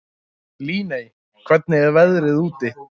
Líney, hvernig er veðrið úti?